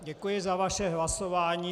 Děkuji za vaše hlasování.